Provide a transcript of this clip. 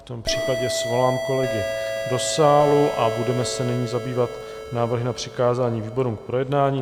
V tom případě svolám kolegy do sálu a budeme se nyní zabývat návrhy na přikázání výborům k projednání.